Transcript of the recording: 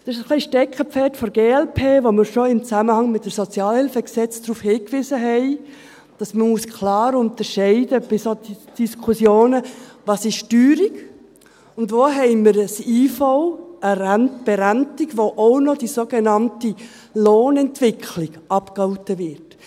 – Das ist ein wenig ein Steckenpferd der glp, worauf wir schon in Zusammenhang mit dem Gesetz über die öffentliche Sozialhilfe (Sozialhilfegesetz, SHG) hingewiesen hatten, nämlich, dass man bei solchen Diskussionen klar unterscheiden muss, was Teuerung ist und wo wir eine IV, eine Berentung, haben, bei der auch noch die sogenannte Lohnentwicklung abgegolten wird.